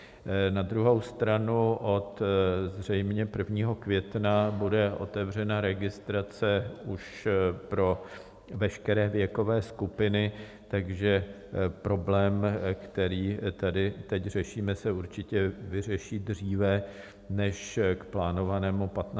Na druhou stranu zřejmě od 1. května bude otevřena registrace už pro veškeré věkové skupiny, takže problém, který tady teď řešíme, se určitě vyřeší dříve než k plánovanému 15. červnu.